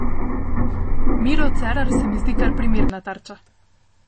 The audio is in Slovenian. Miro Cerar se mi zdi kar primerna tarča.